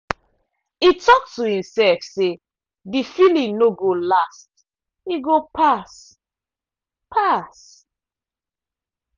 e talk to himself say the feeling no go last e go pass. pass.